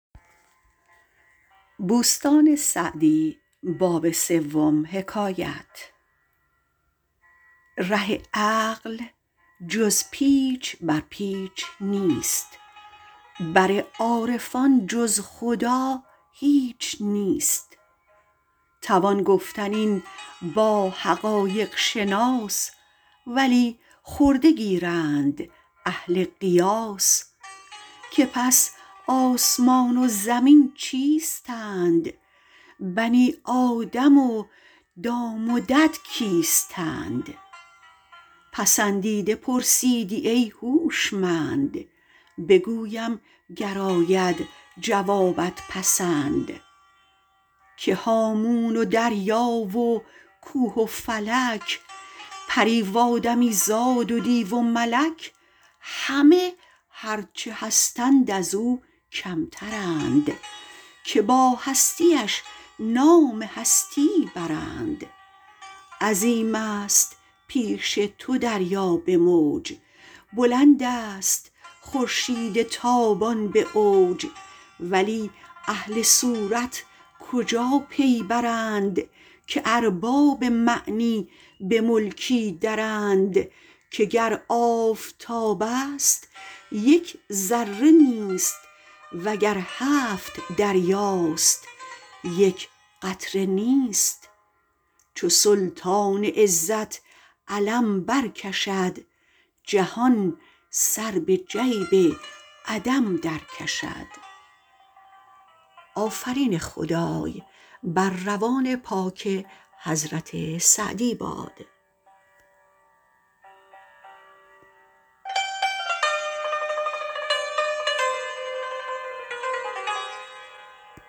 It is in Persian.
ره عقل جز پیچ بر پیچ نیست بر عارفان جز خدا هیچ نیست توان گفتن این با حقایق شناس ولی خرده گیرند اهل قیاس که پس آسمان و زمین چیستند بنی آدم و دام و دد کیستند پسندیده پرسیدی ای هوشمند بگویم گر آید جوابت پسند که هامون و دریا و کوه و فلک پری و آدمی زاد و دیو و ملک همه هرچه هستند از آن کمترند که با هستیش نام هستی برند عظیم است پیش تو دریا به موج بلند است خورشید تابان به اوج ولی اهل صورت کجا پی برند که ارباب معنی به ملکی درند که گر آفتاب است یک ذره نیست وگر هفت دریاست یک قطره نیست چو سلطان عزت علم بر کشد جهان سر به جیب عدم در کشد